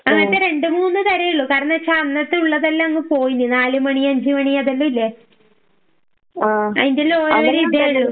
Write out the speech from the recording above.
ഓഹ് അങ്ങനത്തെ രണ്ടുമൂന്ന് തരം ഉള്ളൂ കാരണോച്ച അന്നത്തെ ഉള്ളതെല്ലാം അങ്ങ് പോയീനി നാലുമണി, അഞ്ചുമണി അതെലാം ഇല്ലേ? അയിന്റെ എല്ലാം ഒരേ ഇത് ഉള്ളു.